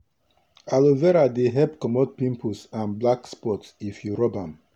aloe vera dey help commot pimples and black spot if you rub am.